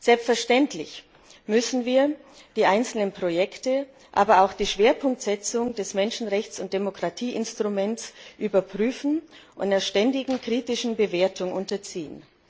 Selbstverständlich müssen wir die einzelnen Projekte, aber auch die Schwerpunktsetzung des Menschenrechts und Demokratieinstruments überprüfen und einer ständigen kritischen Bewertung unterziehen.